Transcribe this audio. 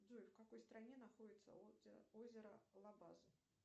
джой в какой стране находится озеро лабаз